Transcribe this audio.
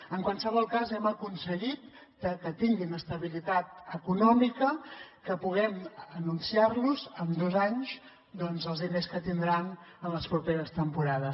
en qualsevol cas hem aconseguit que tinguin estabilitat econòmica que puguem anunciar los en dos anys doncs els diners que tindran en les properes temporades